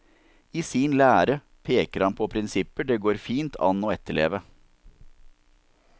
I sin lære peker han på prinsipper det fint går an å etterleve.